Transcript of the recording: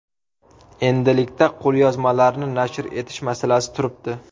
Endilikda qo‘lyozmalarni nashr etish masalasi turibdi.